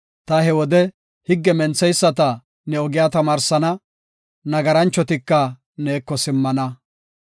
Ta he wode higge mentheyisata ne ogiya tamaarsana; nagaranchotika neeko simmana.